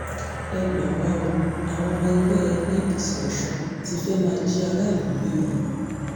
ẹ gbà wá o àwọn ọmọ ẹgbẹ́ apc ọ̀sùn ti fẹ́ẹ́ máa jí aráàlú gbé o